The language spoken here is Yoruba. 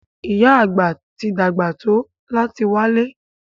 Ìyá Àgbà ti dàgbà tó láti wálẹ́.